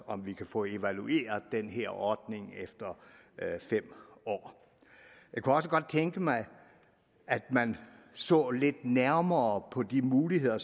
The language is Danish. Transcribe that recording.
om vi kan få evalueret den her ordning efter fem år jeg kunne også godt tænke mig at man så lidt nærmere på de muligheder